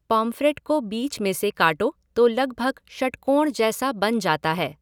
Pomfret को बीच में से काटो तो लगभग षटकोण जैसा बन जाता है।